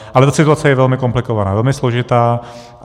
Ale ta situace je velmi komplikovaná, velmi složitá.